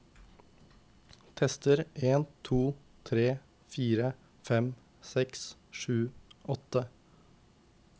Tester en to tre fire fem seks sju åtte